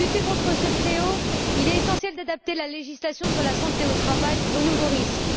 Pour lutter contre ce fléau, il est essentiel d'adapter la législation sur la santé au travail aux nouveaux risques.